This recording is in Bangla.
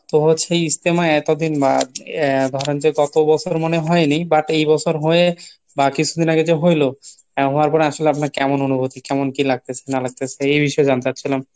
তো হচ্ছে ইজতেমা এতদিন আহ ধরেন যে গত বছর মনে হয়নি but এই বছর হয়ে বা কিছুদিন আগে যে হইলো, হওয়ার পরে আসলে আপনার কেমন অনুভূতি কেমন কি লাগতেছে না লাগতেছে এই বিষয়ে জানতে চাচ্ছিলাম।